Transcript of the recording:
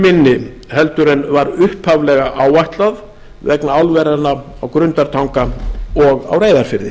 mun minni heldur en var upphaflega áætlað vegna álveranna á grundartanga og á reyðarfirði